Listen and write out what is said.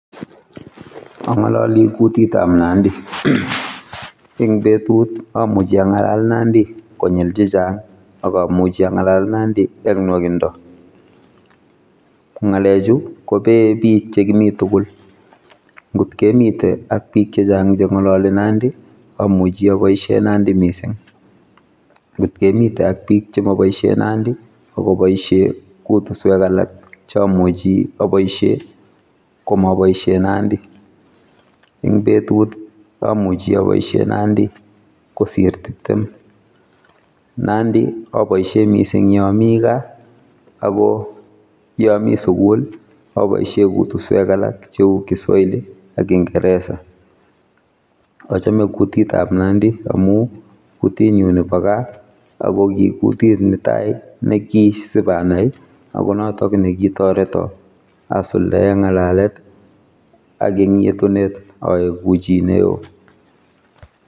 Angololi kutitab nandi eng betut amuchi angalal nandi konyil chechang akomuchi angalal nandi eng nwakindo. Ngalechu kobeei bikchekimi tugul ngotkemite ak biik chechang chengalali nandi amuchi aboisie nandi mising ngotkemite ak bik chemoboisie nandi akoboisie kutuskwek alak che amuchi aboisie komaboisie nandi. Eng betut amuchi aboisie nandi kosir tiptem nandi aboisie mising yaami gaa akoyaami sugul aboisie kutuswek alak cheu kiswahili ak kiingereza. Achome kutitab nandi amu kutitnyu nebo gaa akokikutit netai nekisibanai akonotok nekitoreto asuldae ngalalet ak ing yetunet aeku chineo.